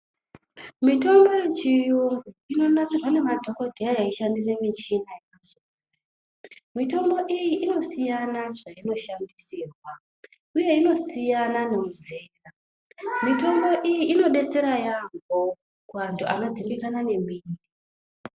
Mitombo yechirungu inonasirwa nemadhokodheya eishandisa mishina yakasiyana siyana mitombo iyi inosiyana zvainoshandisirwa uye inosiyana nezera mitombo iyi inodetsera yambo kuvanhu vanodzimikana nemwiri.